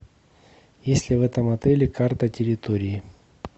есть ли в этом отеле карта территории